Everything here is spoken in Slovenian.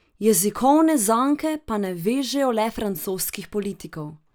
Jezikovne zanke pa ne vežejo le francoskih politikov.